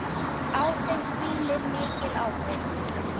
Á þeim hvílir mikil ábyrgð.